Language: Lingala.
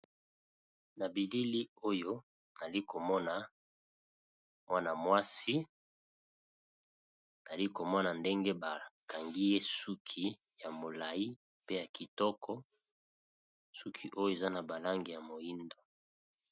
na bilili oyo nali komona wana mwasi ali komona ndenge bakangi ye suki ya molai pe ya kitoko suki oyo eza na balange ya moindo